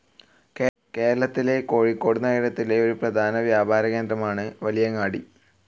കേരളത്തിലെ കോഴിക്കോട് നഗരത്തിലെ ഒരു പ്രധാന വ്യാപര കേന്ദ്രമാണ് വലിയങ്ങാടി.